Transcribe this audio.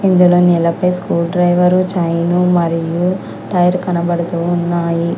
ఇందులొ నేలపై screwdriver chain మరియు tyre కనబడుతూ ఉన్నాయి.